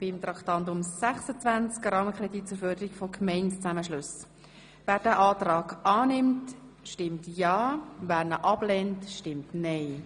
Wer diesen Antrag zur Förderung von Gemeindezusammenschlüssen annimmt, stimmt ja, wer ihn ablehnt, stimmt nein.